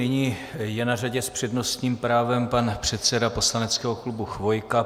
Nyní je na řadě s přednostním právem pan předseda poslaneckého klubu Chvojka.